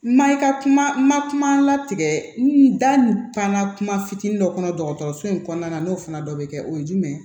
Ma i ka kuma latigɛ n da n ka kuma fitinin dɔ kɔnɔ dɔgɔtɔrɔso in kɔnɔna na n'o fana dɔ bɛ kɛ o ye jumɛn ye